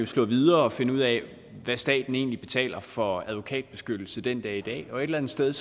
slå videre og finde ud af hvad staten egentlig betaler for advokatbeskyttelse den dag i dag og et eller andet sted